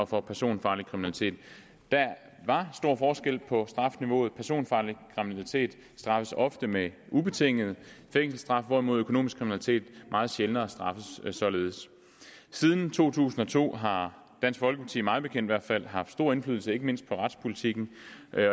for personfarlig kriminalitet der var stor forskel på strafniveauet personfarlig kriminalitet straffes ofte med ubetinget fængselsstraf hvorimod økonomisk kriminalitet meget sjældnere straffes således siden to tusind og to har dansk folkeparti mig bekendt i hvert fald haft stor indflydelse ikke mindst på retspolitikken